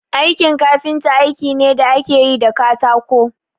Aikin kafinta aiki ne da ake yi da katako